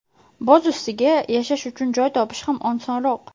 Boz ustiga yashash uchun joy topish ham osonroq.